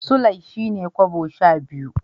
Sulai shine kobo sha biyu.